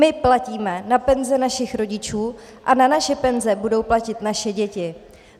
My platíme na penze našich rodičů a na naše penze budou platit naše děti.